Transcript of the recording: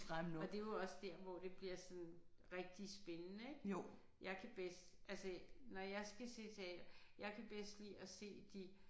Og det er jo også der hvor det bliver sådan rigtig spændende ik. Jeg kan bedst altså når jeg skal se teater jeg kan bedst lide at se de